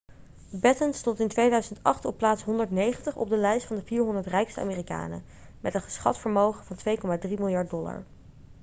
batten stond in 2008 op plaats 190 op de lijst van de 400 rijkste amerikanen met een geschat vermogen van 2,3 miljard dollar